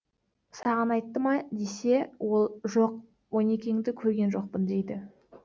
саған айтты ма десе ол жоқ онекеңді көрген жоқпын дейді